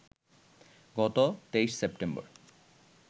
গত ২৩ সেপ্টেম্বর